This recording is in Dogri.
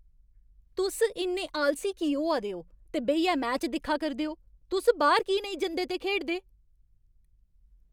तुस इन्ने आलसी की होआ दे ओ ते बेहियै मैच दिक्खा करदे ओ? तुस बाह्‌र की नेईं जंदे ते खेढदे?